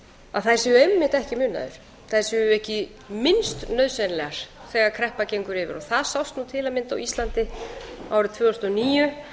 að þær séu einmitt ekki munaður þær séu ekki minnst nauðsynlegar þegar kreppa gengur yfir það sást nú til að mynda á íslandi árið tvö þúsund og níu